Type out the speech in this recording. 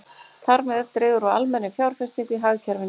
Þar með dregur úr almennri fjárfestingu í hagkerfinu.